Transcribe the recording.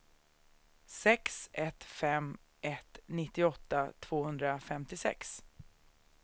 sex ett fem ett nittioåtta tvåhundrafemtiosex